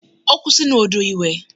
Ó kú sinú odò ìwẹ̀.